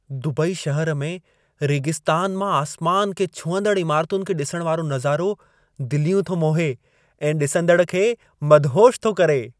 Dubai शहर में, रेगिस्तान मां आसमान खे छुहंदड़ इमारतुनि खे ॾिसण वारो नज़ारो दिलियूं थो मोहे ऐं ॾिसंदड़ खे मदहोशु थो करे।